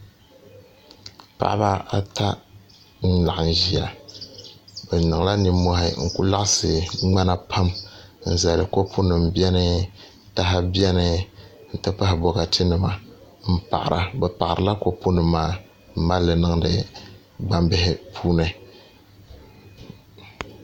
Paɣaba ata n laɣim ʒia bɛ niŋla ninmohi n kuli laɣasi ŋmana pam n zali kopu nima biɛni taha biɛni n ti pahi bokati nima m paɣara bɛ paɣarila kopu nima maa m malili niŋdi gbambihi puuni.